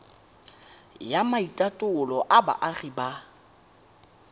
ya maitatolo a boagi ba